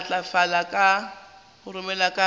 ya matlafala ka roromela ka